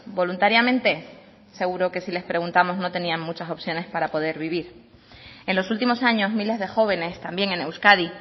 voluntariamente seguro que si les preguntamos no tenías muchas opciones para poder vivir en los últimos años miles de jóvenes también en euskadi